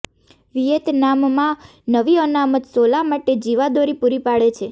વિયેતનામમાં નવી અનામત સોલા માટે જીવાદોરી પૂરી પાડે છે